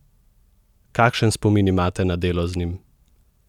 Kakšen spomin imate na delo z njim?